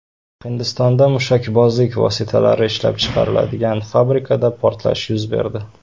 Hindistonda mushakbozlik vositalari ishlab chiqariladigan fabrikada portlash yuz berdi.